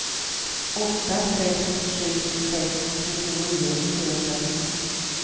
åtta sex sju sex fyrtionio fyrahundrafyra